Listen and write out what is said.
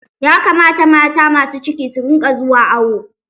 Ya kamata mata masu ciki su rinƙa zuwa awo.